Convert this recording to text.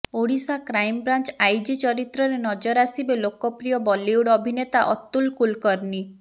Odisha crime branch IG ଚରିତ୍ରରେ ନଜର ଆସିବେ ଲୋକପ୍ରିୟ ବଲିଉଡ ଅଭିନେତା ଅତୁଲ କୁଲକରନୀ